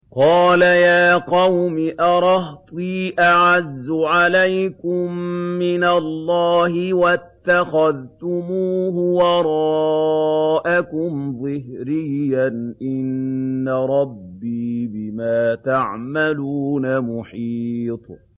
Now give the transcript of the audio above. قَالَ يَا قَوْمِ أَرَهْطِي أَعَزُّ عَلَيْكُم مِّنَ اللَّهِ وَاتَّخَذْتُمُوهُ وَرَاءَكُمْ ظِهْرِيًّا ۖ إِنَّ رَبِّي بِمَا تَعْمَلُونَ مُحِيطٌ